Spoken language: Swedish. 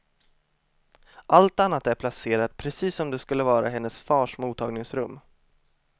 Allt annat är placerat precis som det skulle vara i hennes fars mottagningsrum.